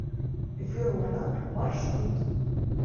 верона маршрут